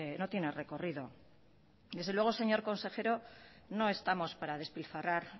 no tiene recorrido desde luego señor consejero no estamos para despilfarrar